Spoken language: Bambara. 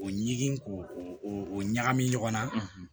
O ɲi ko o ɲagami ɲɔgɔn na